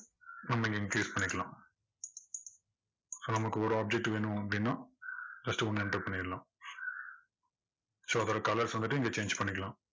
நம்ம இங்க increase பண்ணிக்கலாம். நமக்கு ஒரு object வேணும் அப்படின்னா, first ஒண்ண enter பண்ணிரலாம். so இந்த colors வந்துட்டு இங்க change பண்ணிக்கலாம்.